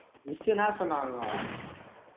miss என்ன சொன்னாங்கோ